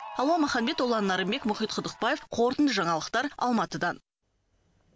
алуа маханбет ұлан нарынбек мұхит құдықбаев қорытынды жаңалықтар алматыдан